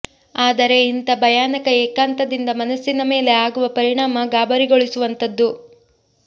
ಆದರೆ ಇಂಥ ಭಯಾನಕ ಏಕಾಂತದಿಂದ ಮನಸ್ಸಿನ ಮೇಲೆ ಆಗುವ ಪರಿಣಾಮ ಗಾಬರಿಗೊಳಿಸುವಂಥದ್ದು